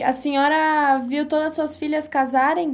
E a senhora viu todas as suas filhas casarem?